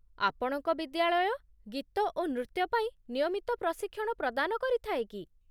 ଆପଣଙ୍କ ବିଦ୍ୟାଳୟ ଗୀତ ଓ ନୃତ୍ୟ ପାଇଁ ନିୟମିତ ପ୍ରଶିକ୍ଷଣ ପ୍ରଦାନ କରିଥାଏ କି?